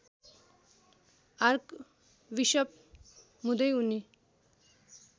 archbishop हुँदै उनी